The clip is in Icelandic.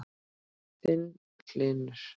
Þinn, Hlynur.